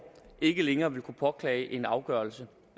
ikke længere vil kunne påklage en afgørelse